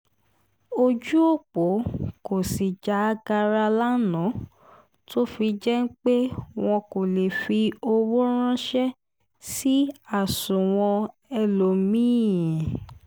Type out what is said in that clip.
ojú ọ̀pọ̀ kò sì já gaara lánàá tó fi jẹ́ pé wọn kò lè fi owó ránṣẹ́ sí àsùnwọ̀n ẹlòmí-ín